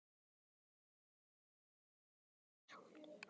En hver var hún?